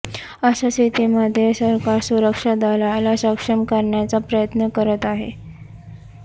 अशा स्थितीमध्ये सरकार सुरक्षा दलाला सक्षम करण्याचा प्रयत्न करत आहे